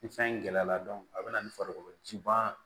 Ni fɛn gɛlɛya la a bɛ na ni farikolo ji ba